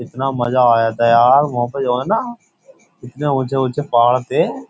इतना मजा आया था यार मोह पे जो है ना इतने ऊंचे ऊंचे पहाड़ थे।